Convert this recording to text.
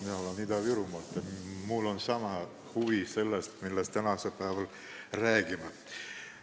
Mina olen Ida-Virumaalt ja mul on samuti huvi selle vastu, millest me tänasel päeval räägime.